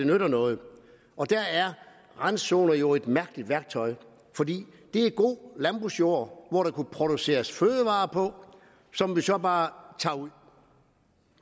nytter noget der er randzoner jo et mærkeligt værktøj for det er god landbrugsjord hvor der kunne produceres fødevarer som vi så bare tager ud